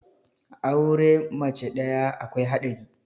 aure mace ɗaya akwai haɗari